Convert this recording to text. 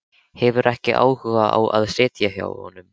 Hefur ekki áhuga á að sitja hjá honum.